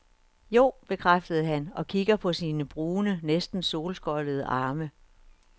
Jo, bekræftede han og kiggede på sine brune, næsten solskoldede arme.